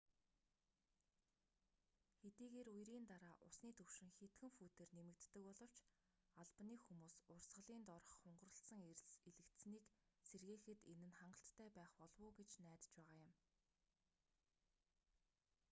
хэдийгээр үерийн дараа усны түвшин хэдхэн футээр нэмэгддэг боловч албаны хүмүүс урсгалын доорх хунгарласан элс элэгдсэнийг сэргээхэд энэ нь хангалттай байх болов уу гэж найдаж байгаа юм